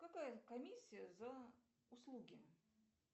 какая комиссия за услуги